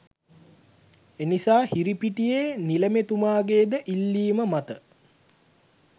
එනිසා හිරිපිටියේ නිළමේතුමාගේ ද ඉල්ලීම මත